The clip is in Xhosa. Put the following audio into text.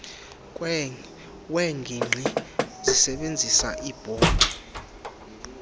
weengingqi zisebizisa iibhodi